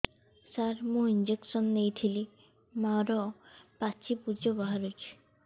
ସାର ମୁଁ ଇଂଜେକସନ ନେଇଥିଲି ମୋରୋ ପାଚି ପୂଜ ବାହାରୁଚି